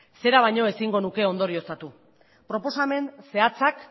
zera baino ezin izango nuke ondorioztatu proposamen zehatzak